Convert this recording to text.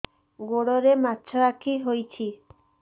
ଗୋଡ଼ରେ ମାଛଆଖି ହୋଇଛି